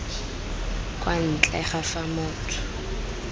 kwa ntle ga fa motho